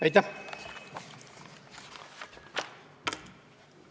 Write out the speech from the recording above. Aitäh!